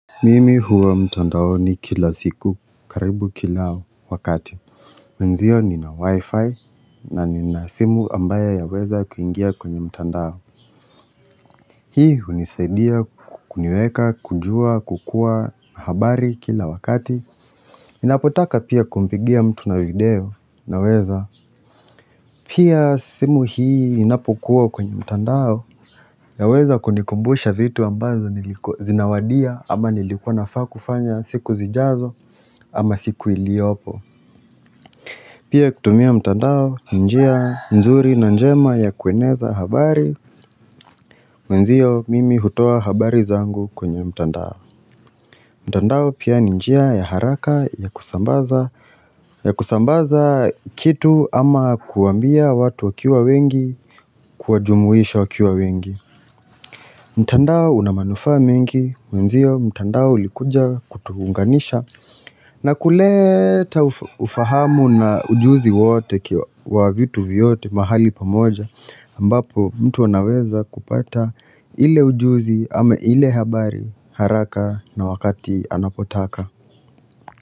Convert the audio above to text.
Mimi huwa mtandaoni kila siku karibu kila wakati Mwenziyo nina wi-fi na nina simu ambayo yaweza kuingia kwenye mtandao Hii hunisaidia kuniweka kujua kukua habari kila wakati Inapotaka pia kumpigia mtu na video naweza Pia simu hii inapokuwa kwenye mtandao inaweza kunikumbusha vitu ambazo zinawadia ama nilikuwa nafaa kufanya siku zijazo ama siku iliopo Pia kutumia mtandao njia nzuri na njema ya kueneza habari Mwenzio mimi hutoa habari zangu kwenye mtandao mtandao pia ni njia ya haraka ya kusambaza ya kusambaza kitu ama kuambia watu wakiwa wengi kuwajumuisha wakiwa wengi mtandao una maanufa mengi mwenzio mtandao ulikuja kutuunganisha na kuleta ufahamu na ujuzi wote wa vitu vyote mahali pamoja ambapo mtu wanaweza kupata ile ujuzi ama ile habari haraka na wakati anapotaka.